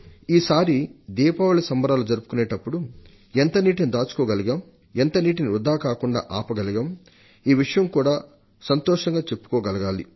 ఈసారి దీపావళి సంబరాలు జరుపుకునేటప్పుడు ఎంత నీటిని దాచుకోగలిగాం ఎంత నీటిని వృథాకాకుండా ఆపగలిగాం అనే విషయాన్ని సంతోషంగా చెప్పుకోగలగాలి